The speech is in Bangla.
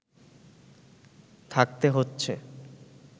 থাকতে হচ্ছে